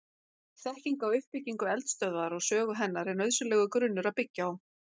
Þekking á uppbyggingu eldstöðvar og sögu hennar er nauðsynlegur grunnur að byggja á.